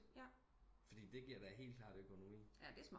Fordi det giver da helt klart økonomi